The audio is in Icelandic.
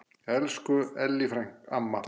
Elsku Ellý amma.